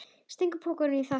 Stingur pokanum í það.